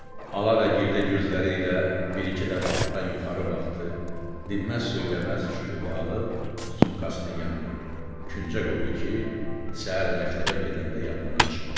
Ala və girdə gözləri ilə bir-iki dəfə altdan yuxarı baxdı, dinməz-söyləməz çubuğu alıb sumkasının yanına, küncə qoydu ki, səhər məktəbə gedəndə yadından çıxmasın.